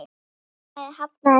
Félagið hafnaði því.